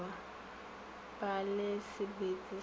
ba le sebete sa go